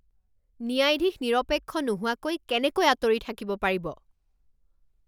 ন্যায়াধীশ নিৰপেক্ষ নোহোৱাকৈ কেনেকৈ আঁতৰি থাকিব পাৰিব?